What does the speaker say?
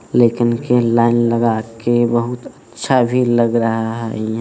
लेकिन के लाइन लगा के बहुत अच्छा भी लग रहा है।